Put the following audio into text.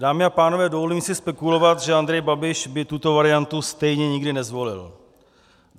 Dámy a pánové, dovolím si spekulovat, že Andrej Babiš by tuto variantu stejně nikdy nezvolil.